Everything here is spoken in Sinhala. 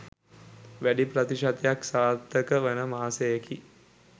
වැඩි ප්‍රතිශතයක් සාර්ථක වන මාසයකි.